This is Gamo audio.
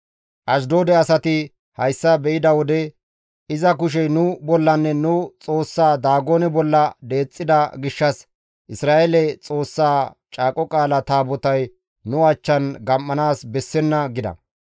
Ashdoode asati hessa be7ida wode, «Iza kushey nu bollanne nu xoossa Daagone bolla deexxida gishshas Isra7eele Xoossa Caaqo Qaala Taabotay nu achchan gam7anaas bessenna» gida.